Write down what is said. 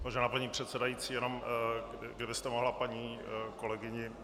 Vážená paní předsedající, jenom kdybyste mohla paní kolegyni